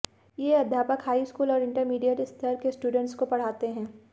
ये अध्यापक high school और इंटरमीडिएट स्तर के स्टूडंेट्स को पढ़ाते हैं